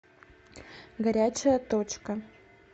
горячая точка